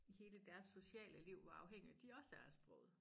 Hele deres sociale liv hvor afhængige de også er af sproget